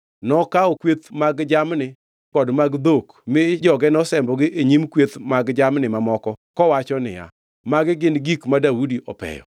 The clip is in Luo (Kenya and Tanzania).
Nokawo kweth mag jamni kod mag dhok mi joge nosembogi e nyim kweth mag jamni mamoko kowacho niya, “Magi gin gik ma Daudi opeyo.”